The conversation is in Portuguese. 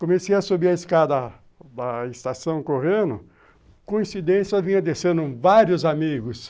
Comecei a subir a escada da estação correndo, coincidência, vinha descendo vários amigos.